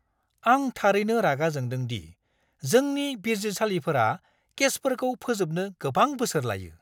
आं थारैनो रागा जोंदों दि जोंनि बिजिरसालिफोरा केसफोरखौ फोजोबनो गोबां बोसोर लायो!